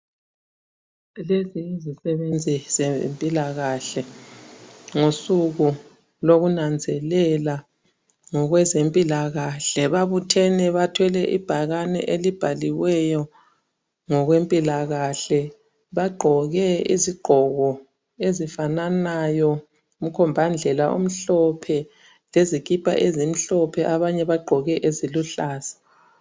Lezi yizi sebenzi zempilakahle ngosuku lokunanzelela ngokweze mpilakahle babuthene bathwele ibhakane elibhaliweyo ngokwe mpilakahle bagqoke izigqoko ezifananayo umkhomba ndlela omhlophe lezikipa ezimhlophe abanye bagqoke eziluhlaza.